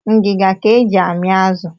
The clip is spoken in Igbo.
Ngiga ka e ji amị azụ